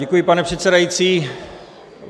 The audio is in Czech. Děkuji, pane předsedající.